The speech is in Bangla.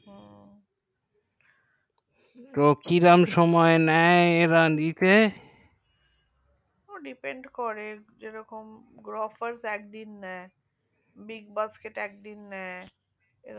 তো কিরম সময় নেই এবং একে ও depend করে যে রকম গোর এক দিন বিগ বস কিত্ এক দিন নেই